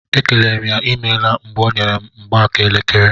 E kelere m ya imeela mgbe ọ nyere m mgbaaka elekere.